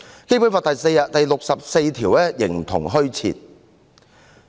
《基本法》第六十四條形同虛設。